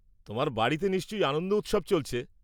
তোমার বাড়িতে নিশ্চয় আনন্দ উৎসব চলছে।